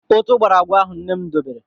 Ụtụ̀ gbara agwa ahụ nne m debere.